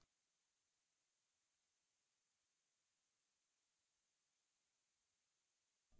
सबसे पहले हम देखेंगे कि onetomany relationship क्या है